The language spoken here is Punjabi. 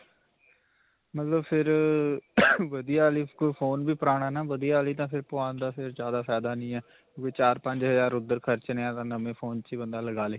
ਮਤਲਬ ਫਿਰ ਅਅ ਵਧੀਆ ਵਾਲੀ phone ਵੀ ਪੁਰਾਣਾ ਨਾਂ ਵਧੀਆ ਵਾਲੀ ਤਾਂ ਫਿਰ ਪਵਾਉਣ ਦਾ ਤਾਂ ਜਿਆਦਾ ਫਾਇਦਾ ਨਹੀਂ ਹੈ ਵੀ ਚਾਰ-ਪੰਚ ਹਜ਼ਾਰ ਓਧਰ ਖਰਚਣੇ ਹੈ, ਤਾਂ ਫਿਰ ਨਵੇਂ phone ਵਿੱਚ ਹੀ ਬੰਦਾ ਲਗਾ ਲਵੋ.